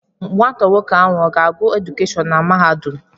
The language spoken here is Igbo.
Nwata nwoke ahụ ọ ga-agụ edukeshọn na mahadum?